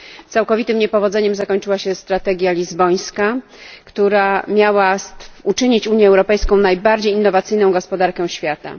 Całkowitym niepowodzeniem zakończyła się strategia lizbońska, która miała uczynić Unię Europejską najbardziej innowacyjną gospodarką świata.